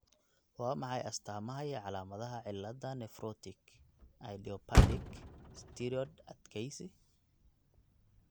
Waa maxay astamaha iyo calaamadaha cilada Nephrotic , idiopathic, steroid adkeysi?